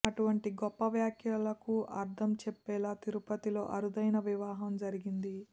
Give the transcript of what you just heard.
అటువంటి గొప్ప వ్యాఖ్యలకు అర్ధం చెప్పేలా తిరుపతిలో అరుదైన వివాహం జరిగింది